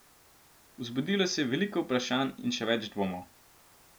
Vzbudilo se je veliko vprašanj in še več dvomov.